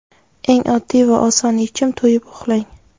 Eng oddiy va oson yechim to‘yib uxlang.